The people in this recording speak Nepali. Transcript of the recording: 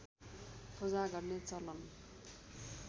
पूजा गर्ने चलन